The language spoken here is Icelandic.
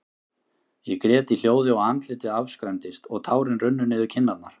Ég grét í hljóði, og andlitið afskræmdist, og tárin runnu niður kinnarnar.